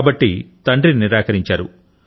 కాబట్టి తండ్రి నిరాకరించారు